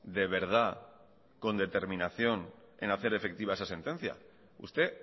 de verdad con determinación en hacer efectiva esa sentencia usted